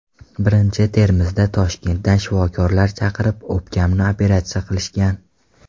Birinchi Termizda Toshkentdan shifokorlar chaqirib, o‘pkamni operatsiya qilishgan.